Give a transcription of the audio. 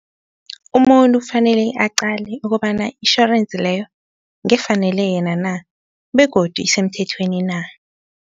Umuntu kufanele aqale ukobana itjhorense leyo, ngefanele yena na begodu isemthethweni na?